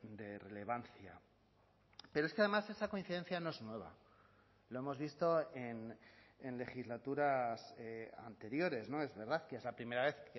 de relevancia pero es que además esa coincidencia no es nueva lo hemos visto en legislaturas anteriores no es verdad que es la primera vez